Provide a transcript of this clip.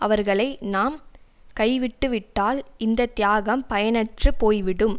அவர்களை நாம் கைவிட்டு விட்டால் இந்த தியாகம் பயனற்று போய் விடும்